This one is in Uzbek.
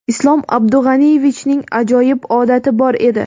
Islom Abdug‘aniyevichning ajoyib odati bor edi.